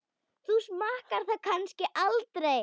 Þú smakkar það kannski aldrei?